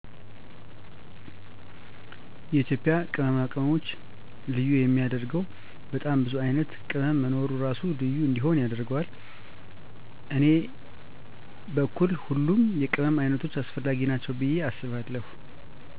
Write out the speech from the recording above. የኢትዩጵያ ቅመማ ቅመሞች ልዬ የሚየደረገወ በጣም ቡዙ አይነት ቅመም መኖሩ እራሱ ልዩ እንዲሆን ያደረገዋል። እኔ በኩል ሁሉም የቅመም አይነቶች አሰፈለጊ ናቸዉ ብየ አስባለሁ